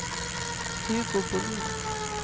Hugo Bohlin